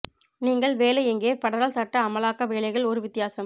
நீங்கள் வேலை எங்கே ஃபெடரல் சட்ட அமலாக்க வேலைகள் ஒரு வித்தியாசம்